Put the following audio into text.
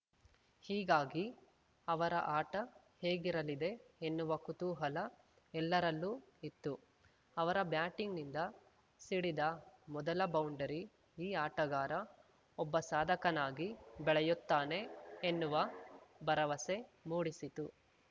ಹೀಗಾಗಿ ಅವರ ಆಟ ಹೇಗಿರಲಿದೆ ಎನ್ನುವ ಕುತೂಹಲ ಎಲ್ಲರಲ್ಲೂ ಇತ್ತು ಅವರ ಬ್ಯಾಟಿಂಗ್‌ನಿಂದ ಸಿಡಿದ ಮೊದಲ ಬೌಂಡರಿ ಈ ಆಟಗಾರ ಒಬ್ಬ ಸಾಧಕನಾಗಿ ಬೆಳೆಯುತ್ತಾನೆ ಎನ್ನುವ ಭರವಸೆ ಮೂಡಿಸಿತು